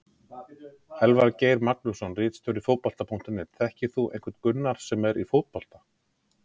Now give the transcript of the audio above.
Elvar Geir Magnússon ritstjóri Fótbolta.net: Þekkir þú einhvern Gunnar sem er í fótbolta?